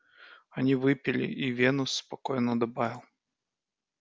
они выпили и венус спокойно добавил